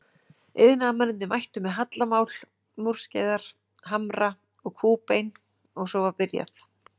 Iðnaðarmennirnir mættu með hallamál, múrskeiðar, hamra og kúbein og svo var byrjað.